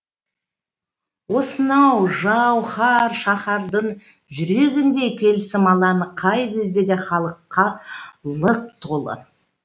осынау жау һар шаһардың жүрегіндей келісім алаңы қай кезде де халыққа лық толы